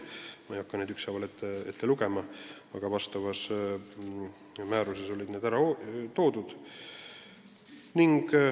Ma ei hakka neid ükshaaval ette lugema, aga sellekohases määruses on need ära toodud.